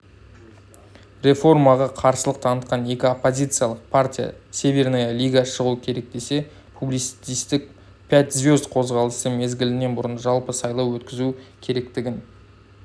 реформаға қарсылық танытқан екі оппозициялық партия северная лига шығу керек десе популистік пять звезд қозғалысы мезгілінен бұрын жалпы сайлау өткізу керектігін